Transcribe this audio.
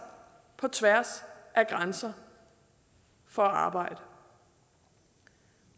på tværs af grænser for at arbejde